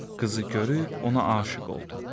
Qızı görüb ona aşiq oldu.